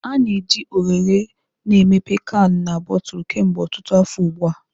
A na-eji oghere na emepe kanu na botulu kemgbe ọtụtụ afọ ugbu a.